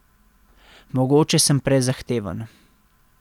Mogoče sem prezahteven.